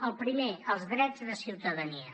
el primer els drets de ciutadania